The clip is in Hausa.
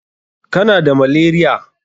Kana da malaria?